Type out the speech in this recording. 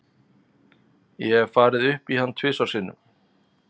Ég hef farið upp í hann tvisvar sinnum.